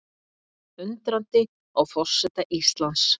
Undrandi á forseta Íslands